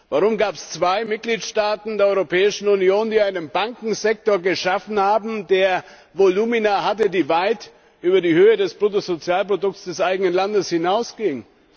Warum gab es zwei Mitgliedstaaten der Europäischen Union, die einen Bankensektor geschaffen haben, der Volumina hatte, die weit über die Höhe des Bruttosozialprodukts des eigenen Landes hinausgingen?